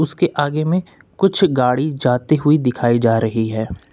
उसके आगे में कुछ गाड़ी जाती हुई दिखाई जा रही है।